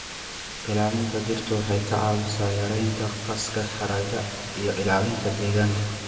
Ilaalinta dhirta waxay ka caawisaa yareynta gaaska haraaga iyo ilaalinta deegaanka.